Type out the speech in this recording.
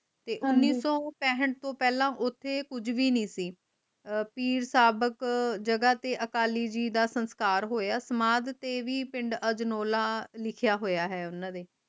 ਤੇ ਉਨ੍ਹੀ ਸੋ ਪੇਂਠ ਤੋਂ ਪਹਿਲਾ ਓਥੇ ਕੁਜ ਵੀ ਨਹੀਂ ਸੀ ਪੀਰ ਸਾਬਕ ਜਗਾਹ ਤੇ ਅਕਾਲੀ ਜੀ ਦਾ ਸੰਸਕਾਰ ਹੋਇਆ ਸਮਾਧ ਤੇ ਵੀ ਪਿੰਡ ਅਜਨੋਲਾ ਲਿਖਯਾ ਹੋਇਆ ਹੈ ਓਨਾ ਦੇ